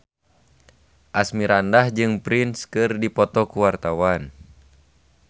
Asmirandah jeung Prince keur dipoto ku wartawan